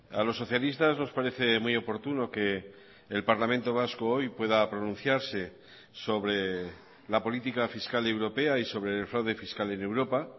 a los socialistas nos parece muy oportuno que el parlamento vasco hoy pueda pronunciarse sobre la política fiscal europea y sobre el fraude fiscal en europa